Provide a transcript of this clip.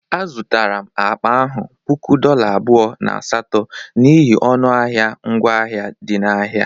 A zụtara akpa ahụ puku dolla abụọ na asatọ n'ihi ọnụ ahịa ngwa ahịa dị n'ahịa.